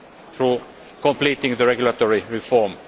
through completing the regulatory reform.